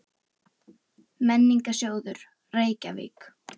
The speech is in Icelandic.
Væntanlega geta lesendur þessa svars fundið útkomuna úr því dæmi á einfaldan hátt!